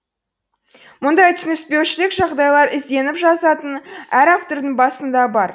мұндай түсініспеушілік жағдайлар ізденіп жазатын әр автордың басында бар